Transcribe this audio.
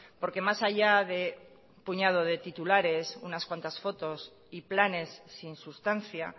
porque más allá de un puñado de titulares unas cuantas fotos y planes sin sustancia